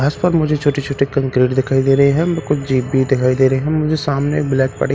घास पर मुझे छोटी छोटी कंक्रीट दिखाई दे रही है व कुछ जीप दिखाई दे रही है मुझे सामने ब्लैक प --